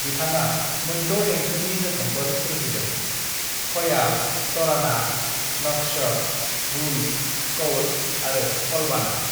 "बिथाङा मोनद' देंखोनि रोखोमफोर सोरजिदों: खयाल, तराना, नक्श, गुल, कौल आरो कलबाना।"